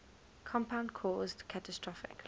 compound caused catastrophic